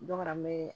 Dɔ kana n bɛ